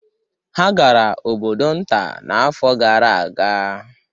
Ha gara obodo nta n'afọ gara aga